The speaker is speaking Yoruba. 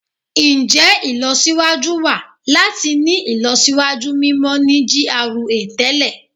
Njẹ ilọsiwaju wa lati ni ilọsiwaju mimọ ni GRA tẹlẹ?